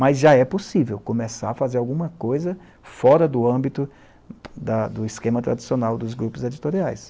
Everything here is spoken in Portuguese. Mas já é possível começar a fazer alguma coisa fora da do âmbito do esquema tradicional dos grupos editoriais.